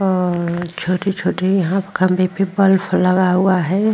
और छोटी छोटी यहाँ खम्बे पे बल्फ लगा हुआ है।